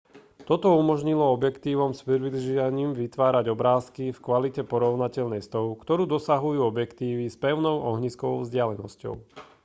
toto umožnilo objektívom s priblížením vytvárať obrázky v kvalite porovnateľnej s tou ktorú dosahujú objektívy s pevnou ohniskovou vzdialenosťou